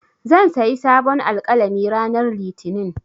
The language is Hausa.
Zan sayi sabon alƙalami ranar Litinin.